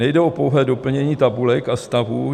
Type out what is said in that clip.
Nejde o pouhé doplnění tabulek a stavů.